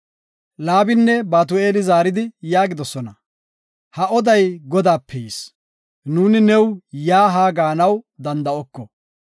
Laabinne Batu7eeli zaaridi yaagidosona; “Ha oday Godaape yis; nuuni yaa haa gaanaw danda7oko.